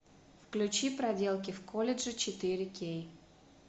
включи проделки в колледже четыре кей